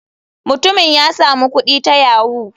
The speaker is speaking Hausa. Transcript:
Mutumin ya samu kudi ta yahoo.